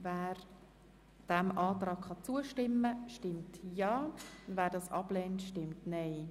Wer diesem Antrag zustimmen kann, stimmt Ja, wer diesen Antrag ablehnt, stimmt Nein.